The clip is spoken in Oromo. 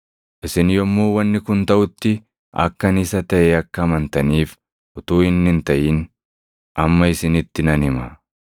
“Isin yommuu wanni kun taʼutti akka ani Isa taʼe akka amantaniif utuu inni hin taʼin amma isinitti nan hima.